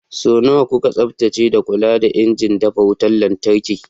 Sau nawa kuka tsaftace da kula da injin dafa wutar lantarki?